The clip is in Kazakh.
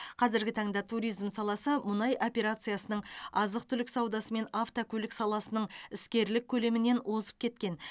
қазіргі таңда туризм саласы мұнай операциясының азық түлік саудасы мен автокөлік саласының іскерлік көлемінен озып кеткен